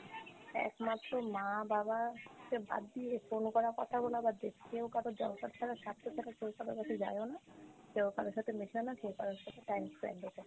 একমাত্র মা বাবাকে বাদ দিয়ে কোনো কারো কথা বলা বাদ দিয়ে কেউ কারো দরকার ছাড়া স্বার্থ ছাড়া কেও কারো কাছে যায় ও না? কেউ কারো সাথে মেশেও না, কেউ কারো সাথে time spent ও করে না।